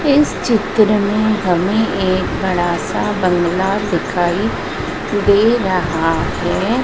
इस चित्र में हमें एक बड़ासा बंगला दिखाई दे रहा हैं।